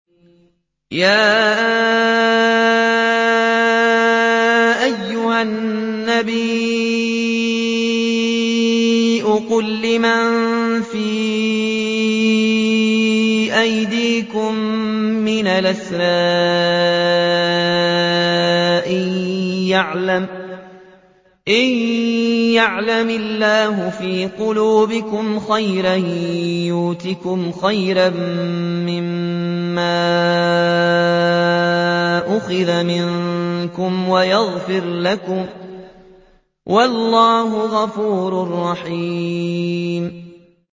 يَا أَيُّهَا النَّبِيُّ قُل لِّمَن فِي أَيْدِيكُم مِّنَ الْأَسْرَىٰ إِن يَعْلَمِ اللَّهُ فِي قُلُوبِكُمْ خَيْرًا يُؤْتِكُمْ خَيْرًا مِّمَّا أُخِذَ مِنكُمْ وَيَغْفِرْ لَكُمْ ۗ وَاللَّهُ غَفُورٌ رَّحِيمٌ